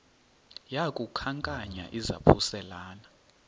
yaku khankanya izaphuselana